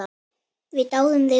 Við dáðum þig öll.